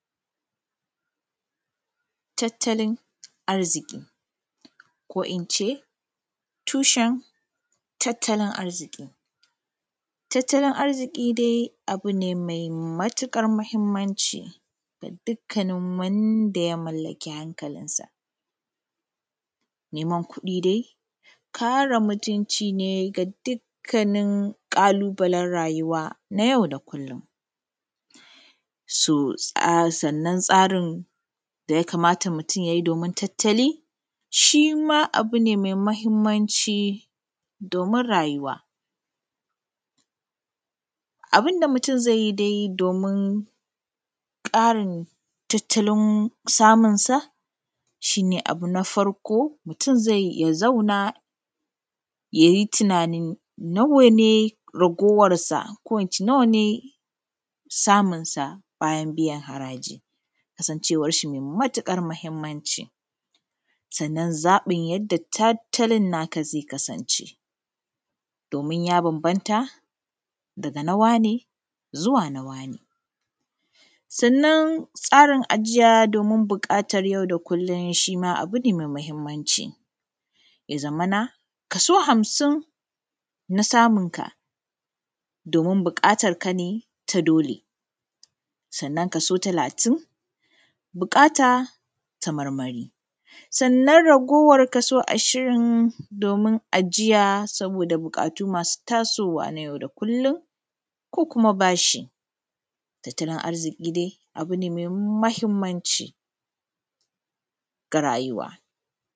Taattalin arzikiˋ koˋ inceˋ tushen arzikiˋ.Tattalin arziki dai abuˋ ne mai matuƙar muhimmanci ga dukkanin wanda ya mallakiˋ hankalin kansaˋ.Neman kuɗiˋ dai, kareˋ mutunciˋ ne ga dukkanin ƙalubalen rayuwaˋ na yau da kullum, so sannan tsarin dayaˋ kamataˋ mutum ya biˋ domin tattaliˋ shima abu ne mai mahimmanciˋ domin rayuwaˋ.Abinda mutum zai yiˋ domin karin tattalin samunsaˋ shi ne abu na farkoˋ ,mutum ya zauna ya yi tunanin nawaˋ ne ragewarsaˋ] ko in ce nawaˋ ne samunsaˋ bayan biyan harajiˋ? Kasanwan shi mai matuƙar mahimmanciˋ, sannan ya zaɓiˋ yadda zai kasanceˋ domin yaˋ bambamta dagaˋ na waneˋ Zuwaˋ na nawaˋ ne Sannan tsarin ajiyaˋ domin biyan buƙatan yau da kullum abu ne farkoˋ ,mutum ya zauna ya yi tunanin nawaˋ ne ragewarsaˋko in ce nawaˋ ne samunsaˋ bayan biyan harajiˋ Kasanwan shi mai matuƙar mahimmanciˋ, sannan ya zaɓiˋ yadda zai kasanceˋ domin yaˋ bambamta dagaˋ na waneˋ Zuwaˋ na nawaˋ ne? Sannan tsarin ajiyaˋ domin biyan buƙatan yau da kullum abu ne mai mahimmanciˋ, ya zamanaˋ kasoˋ hamsin na samunkaˋ domin buƙatarkaˋ na doleˋ, sannan kasoˋ talatin buƙataˋ ta marmariˋ, sannan kasoˋ ashirin domin ajiyaˋ sabodaˋ buƙatuˋ masoˋ tasowaˋ na yau daˋ kullum ko kumaˋ bashi. Tattaliˋ arzikiˋ dai abu ne mai mahimmanciˋ ga rayuwaˋ.